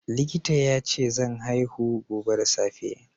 Likita yace zan haihu gobe da safe.